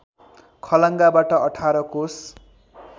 खलङ्गाबाट १८ कोष